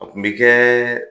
A tun bɛ kɛ